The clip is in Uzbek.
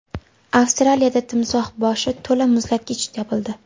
Avstraliyada timsoh boshi to‘la muzlatgich topildi.